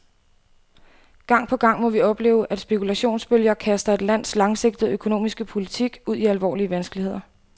Gang på gang må vi opleve, at spekulationsbølger kaster et lands langsigtede økonomiske politik ud i alvorlige vanskeligheder.